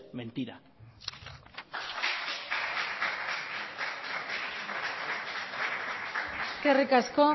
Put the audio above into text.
mentira eskerrik asko